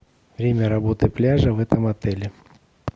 время работы пляжа в этом отеле